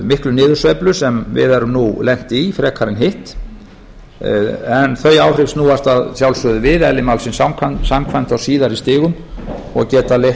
miklu niðursveiflu sem við höfum nú lent í frekar en hitt en þau áhrif snúast að sjálfsögðu við eðli málsins samkvæmt á síðari stigum og geta leitt